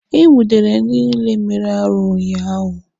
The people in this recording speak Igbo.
E nwudere ndị niile mere arụ ụnyaahụ.